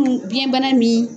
biyɛnbana min